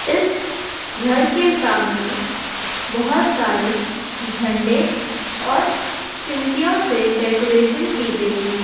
इस घर के सामने बहुत सारे झंडे और चिम्किमो से डेकोरेशन की गई है।